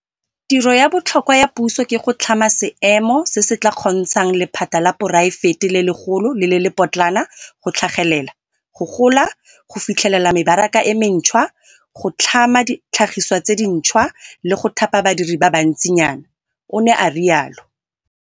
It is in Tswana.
Tiro ya botlhokwa ya puso ke go tlhama seemo se se tla kgontshang lephata la poraefete le legolo le le lepotlana go tlhagelela, go gola, go fitlhelela mebaraka e mentšhwa, go tlhama ditlhagiswa tse dintšhwa, le go thapa badiri ba bantsinyana, o ne a rialo.